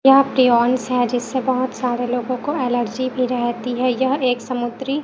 यह प्रियॉन्स है जिससे बहुत सारे लोगों एलर्जी भी रहती हैं यह एक समुद्री--